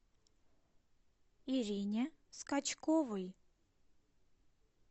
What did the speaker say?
ирине скачковой